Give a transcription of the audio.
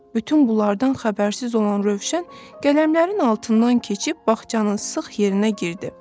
Bütün bunlardan xəbərsiz olan Rövşən qələmlərin altından keçib bağçanın sıx yerinə girdi.